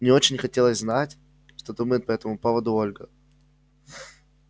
мне очень хотелось знать что думает по этому поводу ольга